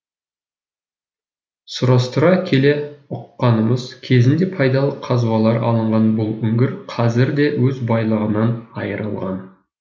сұрастыра келе ұққанымыз кезінде пайдалы қазбалар алынған бұл үңгір қазірде өз байлығынан айырылған